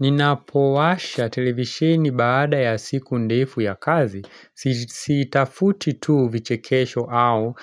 Ninapowasha televisheni baada ya siku ndefu ya kazi, sitafuti tu vichekesho au